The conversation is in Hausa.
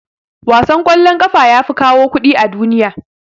Wasan kwallon kafa yafi kawo kuɗi a duniya.